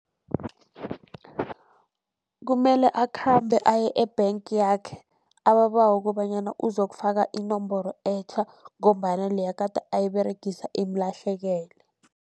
Kumele akhambe aye e-bank yakhe ababawe kobanyana uzokufaka inomboro etjha, ngombana leya gade ayiberegisa imlahlekele.